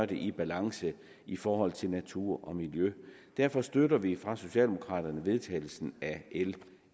det i balance i forhold til natur og miljø derfor støtter vi fra socialdemokraternes side vedtagelsen af l